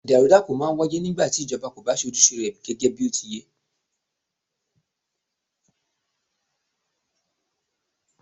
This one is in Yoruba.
Ìdàrúdàpọ̀ máà ń wáyé nígbà tí ìjọba kò bá ṣe ojúṣe rẹ gẹgẹ bí ó ti yẹ́.